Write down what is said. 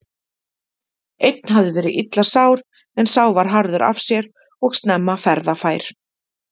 Einn hafði verið illa sár en sá var harður af sér og snemma ferðafær.